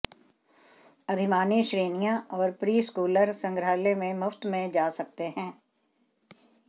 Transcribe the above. अधिमानी श्रेणियां और प्रीस्कूलर संग्रहालय में मुफ्त में जा सकते हैं